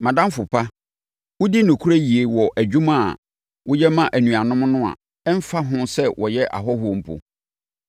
Mʼadamfo pa, wodi nokorɛ yie wɔ adwuma a woyɛ ma anuanom no a ɛmfa ho sɛ wɔyɛ ahɔhoɔ mpo.